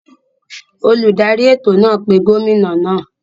Oludari eto naa pe gomina naa.